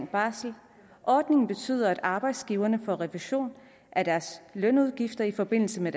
barsel ordningen betyder at arbejdsgiverne får refusion af deres lønudgifter i forbindelse med